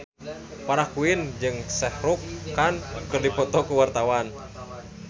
Farah Quinn jeung Shah Rukh Khan keur dipoto ku wartawan